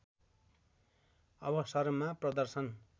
अवसरमा प्रदर्शन